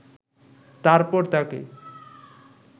তারপর তাকে